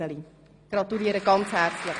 Ich gratuliere ganz herzlich.